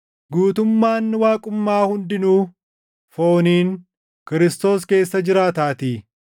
Guutummaan Waaqummaa hundinuu fooniin Kiristoos keessa jiraataatii;